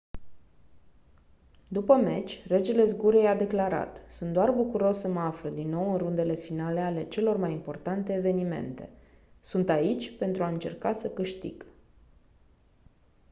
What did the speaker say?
după meci regele zgurei a declarat «sunt doar bucuros să mă aflu din nou în rundele finale ale celor mai importante evenimente. sunt aici pentru a încerca să câștig.».